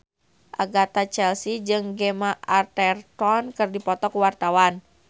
Agatha Chelsea jeung Gemma Arterton keur dipoto ku wartawan